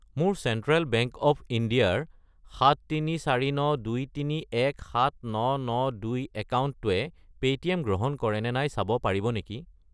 মোৰ Central Bank of India ৰ 73492317992 একাউণ্টটোৱে পে'টিএম গ্ৰহণ কৰে নে নাই চাব পাৰিব নেকি?